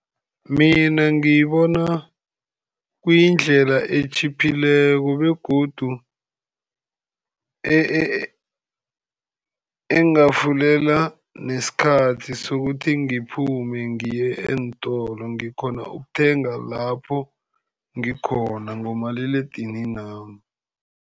Mina ngibona kuyindlela etjhiphileko, begodu engavulela nesikhathi sokuthi ngiphume ngiye eentolo. Ngikghona ukuthenga lapho ngikhona ngomaliledininami.